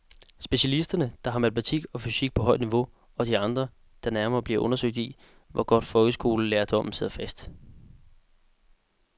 Specialisterne, der har matematik og fysik på højt niveau, og de andre, der nærmere bliver undersøgt i, hvor godt folkeskolelærdommen sidder fast.